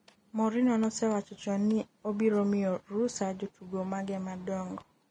Mourinho nosewacho chon ni ne obiro miyo rusa jotugo mage madongo